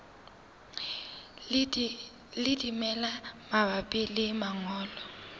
le dimela mabapi le mongobo